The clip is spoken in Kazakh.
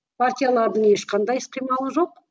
партиялардың ешқандай іс қимылы жоқ